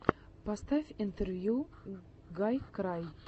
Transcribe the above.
поставь интервью гайкрай